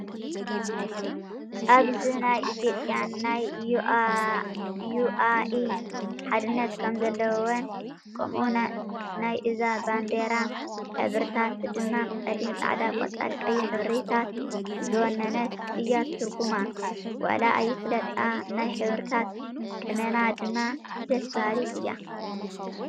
ኣብዝ ናይ ኢትዮጰያን ናይ ዩኣኢ ሓድነት ከም ዘለወን ከምኡ ናይ እዛ ባንዴራሕበሪታት ድማ ፀሊም፣ ፃዕዳ፣ ቆፃልን ቀይሕን ሕብሪታት ዝወነነት እያትርጉማ ዋላ ኣይፍለጣ ናይ ሕብሪታት ቅመማ ድማ ደስ ባሃሊት እያ።